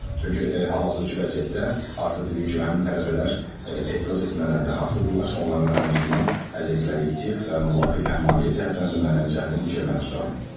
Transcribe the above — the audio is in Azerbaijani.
Çünki hal-hazırki vəziyyətdə artıq dediyim kimi həmin tələbələr etiraz etmələrdə haqlıdırlar, onların ən azından əziyyətləri itib və müvafiq həm maliyyə cəhətdən, həm də mənəvi cəhətdən itkiyə məruz qalıb.